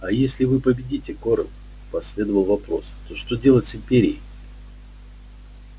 а если вы победите корел последовал вопрос то что делать с империей